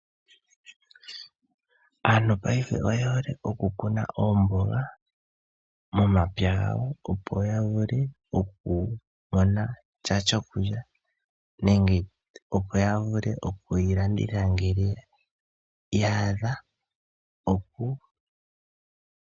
Aantu paife oye hole oku Kuna oomboga, momapya gawo opo ya vule okumona sha shokulya, nenge opo ya vule oku yi landitha ngele yaadha.